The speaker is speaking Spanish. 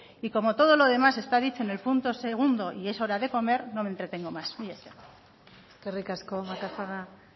y como todo lo demás está dicho en el punto segundo y es hora de comer no me entretengo más mila esker eskerrik asko macazaga